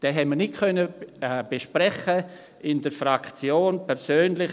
Diesen konnten wir in der Fraktion nicht besprechen.